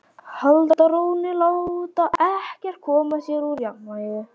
Halda rónni, láta ekkert koma sér úr jafnvægi.